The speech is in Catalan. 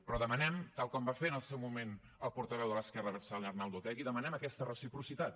però demanem tal com va fer en el seu moment el portaveu de l’esquerra abertzale arnaldo otegi demanem aquesta reciprocitat